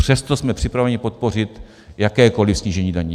Přesto jsme připraveni podpořit jakékoli snížení daní.